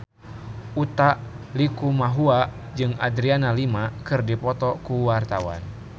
Utha Likumahua jeung Adriana Lima keur dipoto ku wartawan